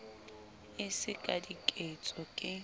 e se ka diketso ke